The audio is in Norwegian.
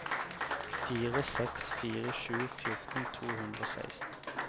fire seks fire sju fjorten to hundre og seksten